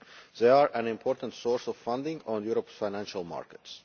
They are an important source of funding on Europe's financial markets.